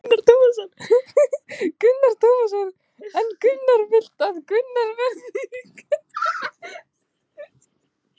Telma Tómasson: En þú vilt að gengið verði til kosninga í vor?